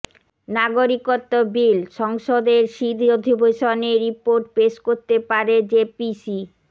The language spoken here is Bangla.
নাগরিকত্ব বিলঃ সংসদের শীত অধিবেশনে রিপোর্ট পেশ করতে পারে জেপিসি